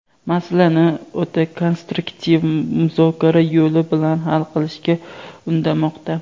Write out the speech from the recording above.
masalani o‘ta konstruktiv muzokara yo‘li bilan hal qilishga undamoqda.